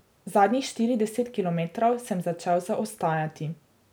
Zadnjih štirideset kilometrov sem začel zaostajati.